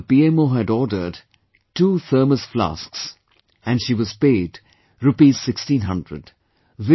She wrote that the PMO had ordered two thermoses, and she was paid Rupees 1600/